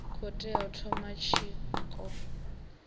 khou tea u thoma tshiko